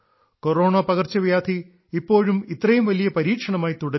corona പകർച്ചവ്യാധി ഇപ്പൊഴും ഇത്രയും വലിയ പരീക്ഷണമായി തുടരുന്നു